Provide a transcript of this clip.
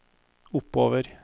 oppover